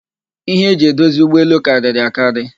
Ihe e ji edozi ụgbọelu karịrị akari